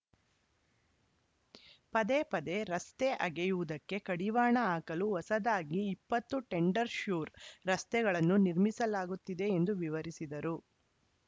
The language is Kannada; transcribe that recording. ಪದೇ ಪದೇ ರಸ್ತೆ ಅಗೆಯುವುದಕ್ಕೆ ಕಡಿವಾಣ ಹಾಕಲು ಹೊಸದಾಗಿ ಇಪ್ಪತ್ತು ಟೆಂಡರ್‌ಶ್ಯೂರ್‌ ರಸ್ತೆಗಳನ್ನು ನಿರ್ಮಿಸಲಾಗುತ್ತಿದೆ ಎಂದು ವಿವರಿಸಿದರು